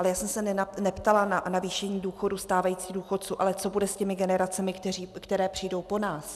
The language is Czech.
Ale já jsem se neptala na navýšení důchodů stávajícím důchodcům, ale co bude s těmi generacemi, které přijdou po nás.